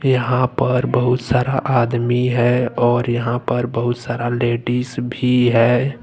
यहां पर बहुत सारा आदमी है और यहां पर बहुत सारा लेडिस भी है।